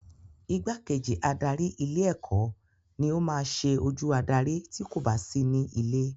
Igbákejì adarí ilé ẹ̀kọ́ ni o maá ṣe ojú adarí ti kò ba sí ní ilé